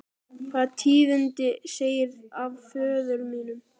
Hvaða tíðindi segirðu af föður mínum?